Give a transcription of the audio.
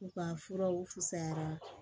U ka furaw fisayara